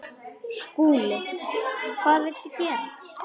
SKÚLI: Hvað viltu gera?